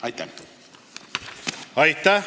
Aitäh!